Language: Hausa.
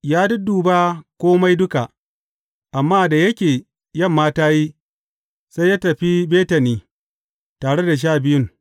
Ya dudduba kome duka, amma da yake yamma ta yi, sai ya tafi Betani tare da Sha Biyun.